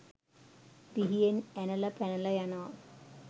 පිහියෙන් ඇනලා පැනලා යනවා.